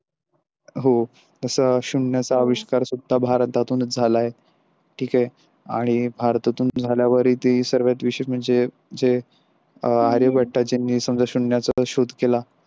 हो अस शून्याचा विस्तार सुद्धा भारतातूनच झाला आहे ठीक आहे आणि भारतातून झाल्यावरही ते सर्वात विशेष म्हणजे जे आर्यभट्टानेसुद्धा म्हणजे शून्याचा शोध केला.